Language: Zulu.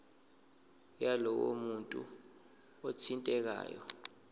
yalowo muntu othintekayo